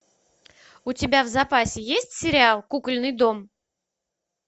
у тебя в запасе есть сериал кукольный дом